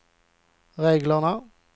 reglerna